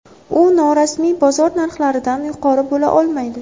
U norasmiy bozor narxlaridan yuqori bo‘la olmaydi.